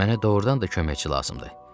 Mənə doğrudan da köməkçi lazımdır.